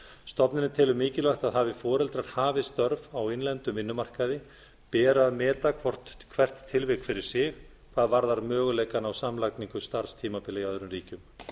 stofnunin telur mikilvægt að hafi foreldrar hafið störf á innlendum vinnumarkaði beri að meta hvert tilvik fyrir sig hvað varðar möguleikann á samlagningu starfstímabila í öðrum ríkjum